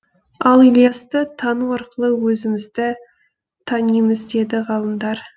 ал ілиясты тану арқылы өзімізді танимыз деді ғалымдар